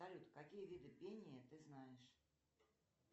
салют какие виды пения ты знаешь